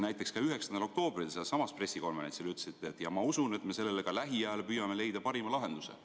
Näiteks ka 9. oktoobril sealsamas valitsuse pressikonverentsil te ütlesite: "Ja ma usun, et me sellele ka lähiajal püüame leida parima lahenduse.